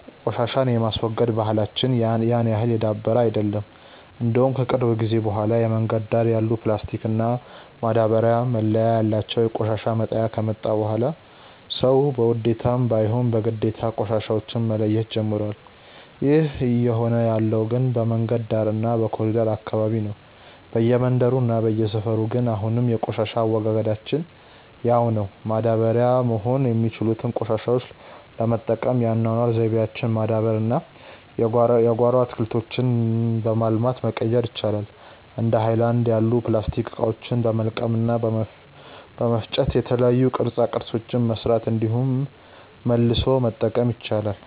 ቆሻሻን የማስወገድ ባህላች ያን ያህል የዳበረ አይደለም። እንደውም ከቅርብ ጊዜ በኋላ የመንገድ ዳር ያሉ ፕላስቲክ እና ማዳበርያ መለያ ያላቸው የቆሻሻ መጣያ ከመጣ በኋላ ሰዉ በውዴታም ባይሆን በግዴታ ቆሻሻዎች መለየት ጀምሮዋል። ይህ እየሆነ ያለው ግን በመንገድ ዳር እና በኮሪደሩ አካባቢ ነው። በየመንደሩ እና በየሰፈሩ ግን አሁንም የቆሻሻ አወጋገዳችን ያው ነው። ማዳበሪያ መሆን የሚችሉትን ቆሻሾች ለመጠቀም የአኗኗር ዘይቤያችንን ማዳበር እና የጓሮ አትክልቶችን በማልማት መቀየር ይቻላል። እንደ ሀይለናድ ያሉ የፕላስቲክ እቃዎችን በመልቀም እና በመፍጨ የተለያዩ ቅርፃ ቅርፆችን መስራት እንዲሁም መልሶ መጠቀም ይቻላል።